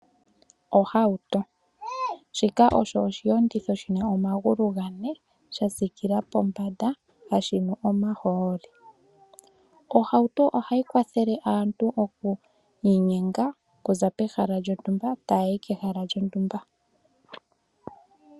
Ohauto shika osho oshiyenditho shi na omagulu ga ne sha sikila pombanda no hashi nu omahooli. Ohauto ohayi kwathele aantu okwiinyenga okuza pehala lyontumba tayi kehala lyontumba.